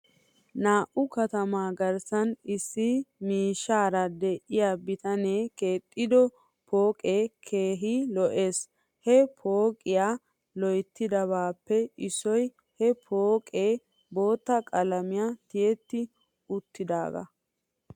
Nu katamaa garssan issi miishshaara de'iyaa bitanee keexissido pooqee keehi lo'es. He pooqiyaa loyttidabaappe issoy he pooqqee bootta qalamiyan tiyetti uttidoogaa.